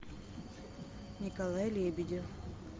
николай лебедев